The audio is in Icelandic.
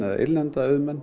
eða innlendra auðmanna